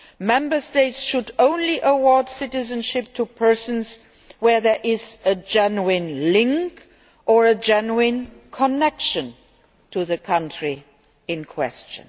law, Member States should only award citizenship to persons where there is a genuine link' or genuine connection' to the country in question.